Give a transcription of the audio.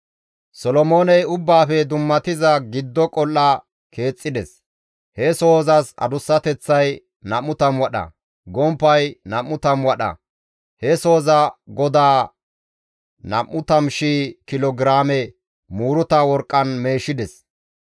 Solomooney Ubbaafe Dummatiza Giddo Qol7a keexxides; he sohozas adussateththay 20 wadha; gomppay 20 wadha. He sohoza godaa 20,000 kilo giraame muuruta worqqan meeshides.